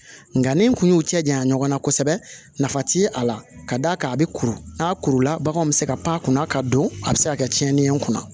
Nka ni n kun y'u cɛ janya ɲɔgɔn na kosɛbɛ nafa ti a la ka d'a kan a bɛ kuru n'a kurula baganw bɛ se ka pan kunna ka don a bɛ se ka kɛ tiɲɛni ye n kunna